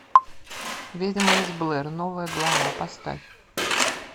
ведьма из блэр новая глава поставь